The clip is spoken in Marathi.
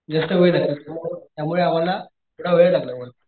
जास्त वेळ लागतो त्यामुळे आम्हला थोडा वेळ लागला वर,